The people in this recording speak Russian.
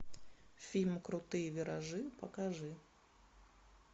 фильм крутые виражи покажи